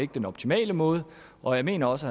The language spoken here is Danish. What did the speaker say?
den optimale måde og jeg mener også